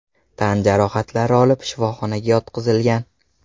tan jarohatlari olib, shifoxonaga yotqizilgan.